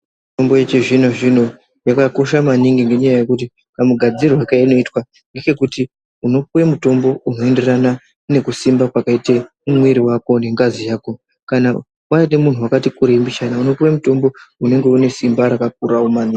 Mitombo yechizvino zvino yakakosha maningi ngenyaya yekuti kamugadzirirwo keinoitwa ngechekuti unopuwe mutombo unoenderana nekusimba kwakaita mwiiri wako nengazi yako kana waite munhu wakati kurei mbichana unopuwe mutombo unenge une simba rakakura maningi.